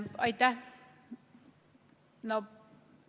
Aitäh!